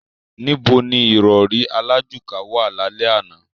Níbo ní ìrọrí alájùká wà lálẹ́ àná?